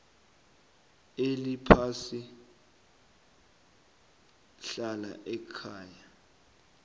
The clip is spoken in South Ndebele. eliphasi hlala ekhaya